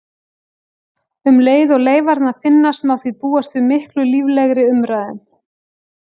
Um leið og leifarnar finnast má því búast við miklu líflegri umræðum.